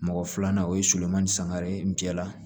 Mɔgɔ filanan o ye solomani sangare cɛ la